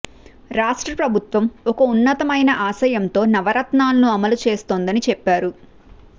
రాష్ట్ర ప్రభుత్వం ఒక ఉన్నతమైన ఆశయంతో నవరత్నాలను అమలు చేస్తోందని చెప్పారు